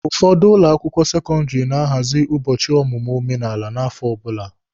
Ụfọdụ ụlọ akwụkwọ sekọndịrị na-ahazị ụbọchị ọmụmụ omenala n'afọ ọbụla.